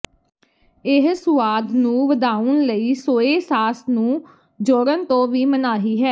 ਇਹ ਸੁਆਦ ਨੂੰ ਵਧਾਉਣ ਲਈ ਸੋਏ ਸਾਸ ਨੂੰ ਜੋੜਨ ਤੋਂ ਵੀ ਮਨਾਹੀ ਹੈ